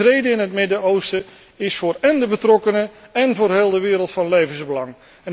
Vrede in het Midden Oosten is voor de betrokkenen, én voor heel de wereld van levensbelang.